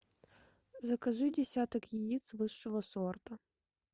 закажи десяток яиц высшего сорта